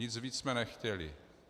Nic víc jsme nechtěli.